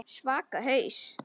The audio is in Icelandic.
Svaka haus.